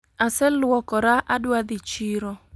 Aseluokra , adua dhi chiro